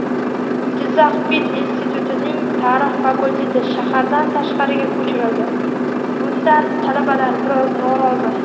Jizzax pedinstitutning tarix fakulteti shahardan tashqariga ko‘chirildi: bundan talabalar biroz norozi.